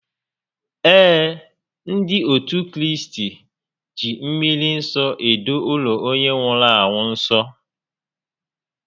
Ee, ndị otu Kraịst ji mmri nsọ edo ụlọ onye nwụrụ anwụ nsọ